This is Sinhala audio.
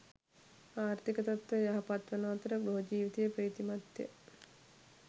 ආර්ථික තත්ත්වය යහපත්වන අතර ගෘහ ජීවිතය ප්‍රීතිමත්ය.